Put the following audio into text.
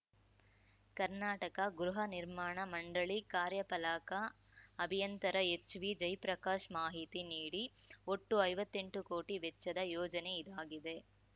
ಕರ್ನಾಟಕ ಗೃಹ ನಿರ್ಮಾಣ ಮಂಡಳಿ ಕಾರ್ಯಪಲಾಕ ಅಭಿಯಂತರ ಎಚ್‌ವಿ ಜಯಪ್ರಕಾಶ್‌ ಮಾಹಿತಿ ನೀಡಿ ಒಟ್ಟು ಐವತ್ತೆಂಟು ಕೋಟಿ ವೆಚ್ಚದ ಯೋಜನೆ ಇದಾಗಿದೆ